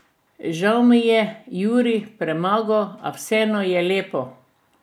Žal me je Jurij premagal, a vseeno je lepo.